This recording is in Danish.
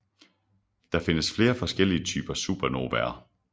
Der findes flere forskellige typer supernovaer